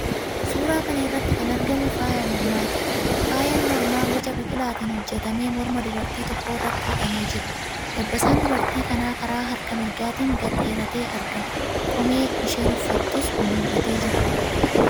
Suuraa kana irratti kan argamu faayaa mormaati. Faayaan mormaa boca biqilaatiin hojjetame morma dubartii tokkoo irratti hidhamee jira. Dabbasaan dubartii kanaa karaa harka mirgaatiin gad dheeratee argama. Qomee isheen uffattus mul'atee jira.